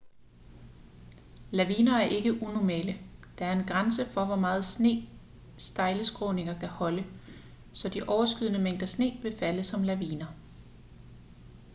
laviner er ikke unormale der er en grænse for hvor meget sne stejle skråninger kan holde så de overskydende mængder sne vil falde som laviner